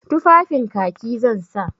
Tufafin Kaki zan sa.